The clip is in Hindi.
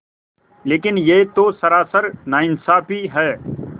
लेकिन यह तो सरासर नाइंसाफ़ी है